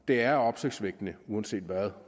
det er opsigtsvækkende uanset hvad